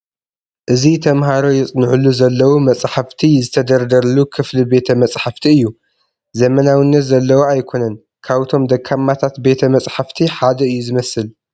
እዚ ተመሃሮ የፅንዕሉ ዘለዉ መፃሕፍቲ ዝተደርደሩሉ ክፍሊ ቤተ መፃሕፍቲ እዩ፡፡ ዘመናዊነት ዘለዎ ኣይኮነን፡፡ ካብቶም ደካማታት ቤተ መፃሕፍቲ ሓደ እዩ ዝመስል፡፡